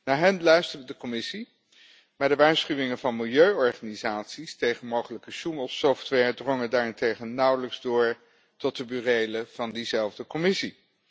Naar hen luisterde de Commissie, maar de waarschuwingen van milieuorganisaties tegen mogelijke sjoemelsoftware drongen daarentegen nauwelijks door tot de burelen van diezelfde Commissie.